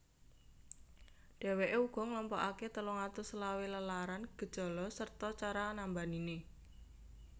Dheweke uga nglompokake telung atus selawe lelaran gejala sarta cara nambanine